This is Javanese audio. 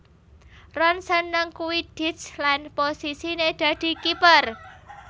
Ron seneng Quidditch lan posisiné dadi kiper